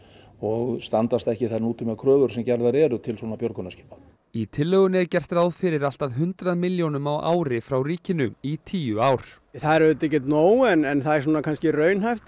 og standast ekki þær nútímakröfur sem gerðar eru til svona björgunarskipa í tillögunni er gert ráð fyrir allt að hundrað milljónum á ári frá ríkinu í tíu ár það er auðvitað ekki nóg en það er kannski raunhæft